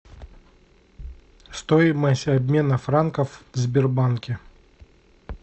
стоимость обмена франков в сбербанке